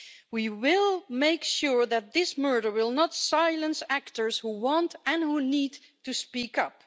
We will make sure that this murder will not silence actors who want and who need to speak up.